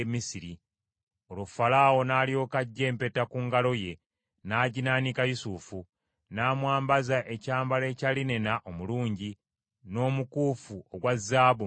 Olwo Falaawo n’alyoka aggya empeta ku ngalo ye n’aginaanika Yusufu, n’amwambaza ekyambalo ekya linena omulungi, n’omukuufu ogwa zaabu mu bulago bwe.